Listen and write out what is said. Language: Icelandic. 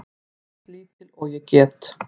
Eins lítil og ég get.